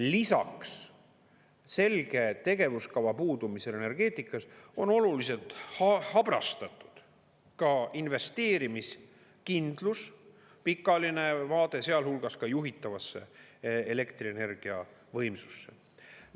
Lisaks selge tegevuskava puudumisele energeetikas on oluliselt habrastatud investeerimiskindlus, pikaajaline vaade, sealhulgas juhitavasse elektrienergia võimsusse.